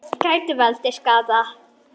Gætu valdið skaða.